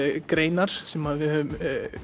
greinar sem að við höfum